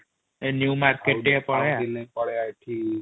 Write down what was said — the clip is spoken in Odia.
ଏ ନିଉ ମାର୍କେଟ ଟିକେ ପଳେଇବା |